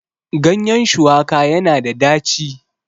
ganyen shuwaka yana da daci